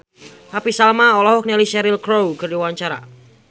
Happy Salma olohok ningali Cheryl Crow keur diwawancara